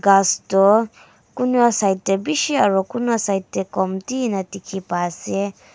kas tho kunra side dae bishi aro kunra side dae komti ena tiki ba ase.